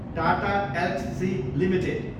Tata Elxsi Ltd